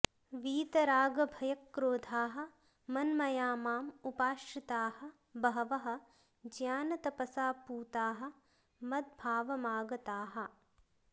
वीतरागभयक्रोधाः मन्मया माम् उपाश्रिताः बहवः ज्ञानतपसा पूताः मद्भावमागताः